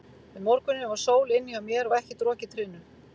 Um morguninn var sól inni hjá mér og ekkert rok í trénu.